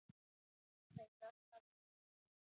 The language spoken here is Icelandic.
Enn leitað að Örnu